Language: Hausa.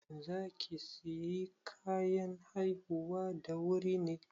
Za ki sayi kayan haihuwa da wuri ne?